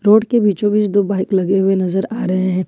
Road के बीचों बीच दो बाइक लगे हुए नजर आ रहे हैं।